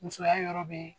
Musoya yɔrɔ bɛ